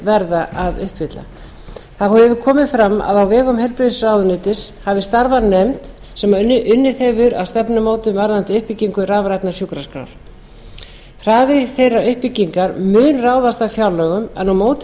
verði að uppfylla þá hefur komið fram að á vegum heilbrigðisráðuneytis hafi starfað nefnd sem unnið hefur að stefnumótun varðandi uppbyggingu rafrænnar sjúkraskrár hraði þeirrar uppbyggingar mun ráðast af fjárlögum en á móti